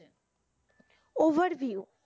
Overview,